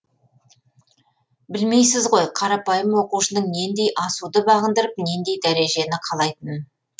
білмейсіз ғой қарапайым оқушының нендей асуды бағындып нендей дәрежені қалайтынын